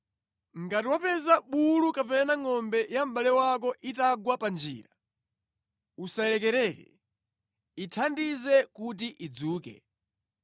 Ngati wapeza bulu kapena ngʼombe ya mʼbale wako itagwa panjira, usayilekerere. Ithandize kuti idzuke.